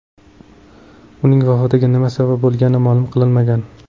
Uning vafotiga nima sabab bo‘lgani ma’lum qilinmagan.